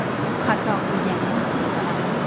Xato qilganini his qilaman.